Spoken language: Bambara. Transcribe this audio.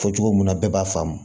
Fɔ cogo min na bɛɛ b'a faamu